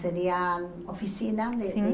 Seria oficina. Sim.